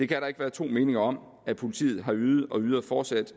kan ikke være to meninger om at politiet har ydet og fortsat